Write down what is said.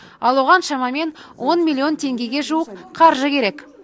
ал оған шамамен он миллион теңгеге жуық қаржы керек